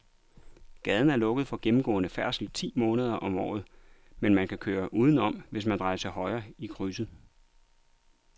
Gaden er lukket for gennemgående færdsel ti måneder om året, men man kan køre udenom, hvis man drejer til højre i krydset.